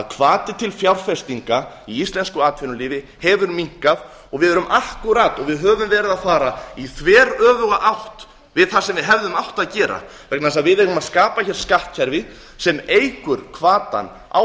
hvati til fjárfestinga í íslensk atvinnulífi hefur hinna og við erum akkúrat og við höfum verið að fara í þveröfuga átt við það sem við hefðum átt að gera vegna þess að við eigum að skapa hér skattkerfi sem eykur hvatann á